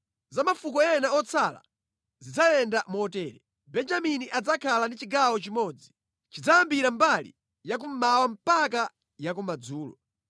“Za mafuko ena otsala zidzayenda motere: Benjamini adzakhala ndi chigawo chimodzi. Chidzayambira mbali ya kummawa mpaka ya kumadzulo.